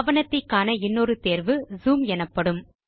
ஆவணத்தை காண இன்னொரு தேர்வு ஜூம் எனப்படும்